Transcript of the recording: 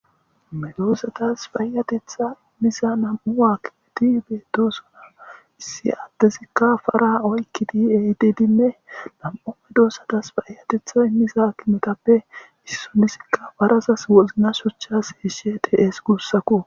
Medoosatas payatetha miza nam7u aakkimeti beettosuna issi addezikka fara oykkidi aydidinne lam7o medoossatas fayatetha i miza kimetappe issonisikka barasas wozna shuchchas eeshe tees guussaku.